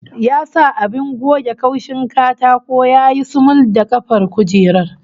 Ya sa abin goge kaushin katako ya yi sumul da kafar kujerar